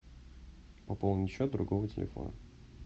пополнить счет другого телефона